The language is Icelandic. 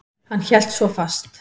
Hann hélt svo fast.